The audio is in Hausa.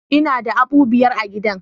Ina da habu biyar a gidan